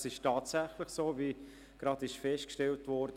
Es ist tatsächlich so, wie gerade festgestellt wurde.